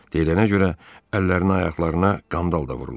Deyilənə görə, əllərinə, ayaqlarına qandal da vurulub.